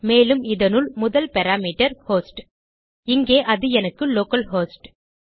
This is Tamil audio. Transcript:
மேலும் இதனுள் முதல் பாராமீட்டர் host160 இங்கே அது எனக்கு லோக்கல்ஹோஸ்ட்